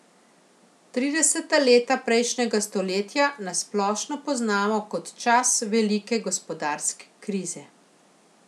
Trideseta leta prejšnjega stoletja na splošno poznamo kot čas velike gospodarske krize.